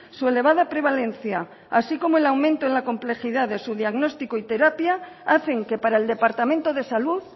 su elevada prevalencia así como el aumento en la complejidad de su diagnóstico y terapia hacen que para el departamento de salud